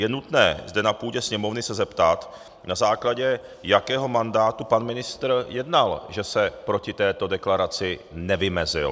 Je nutné zde na půdě Sněmovny se zeptat, na základě jakého mandátu pan ministr jednal, že se proti této deklaraci nevymezil.